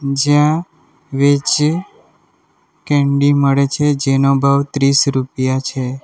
જ્યાં veg candy મળે છે જેનો ભાવ ત્રીસ રૂપિયા છે.